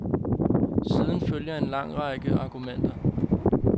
Siden følger en lang række arrangementer.